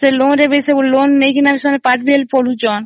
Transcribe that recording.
ସେ loan ନେଇ ସେମାନେ ପାଠ ବି ପଢୁଛନ୍ତି